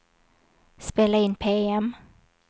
spela in PM